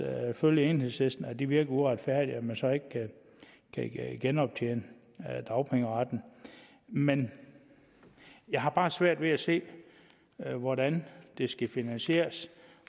følge enhedslisten i at det virker uretfærdigt at man så ikke kan genoptjene dagpengeretten men jeg har bare svært ved at se hvordan det skal finansieres